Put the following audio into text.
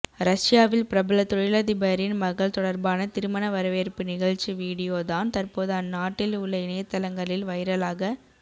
ரஷ்யாவில் பிரபல தொழிலதிபரின் மகள் தொடர்பான திருமண வரவேற்பு நிகழ்ச்சி வீடியோ தான் தற்போது அந்நாட்டில் உள்ள இணையத்தளங்களில் வைரலாக